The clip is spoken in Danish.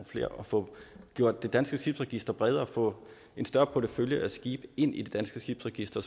flere og få gjort det danske skibsregister bredere få en større portefølje af skibe ind i det danske skibsregister